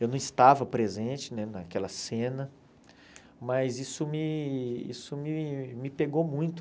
Eu não estava presente né naquela cena, mas isso me isso me me pegou muito.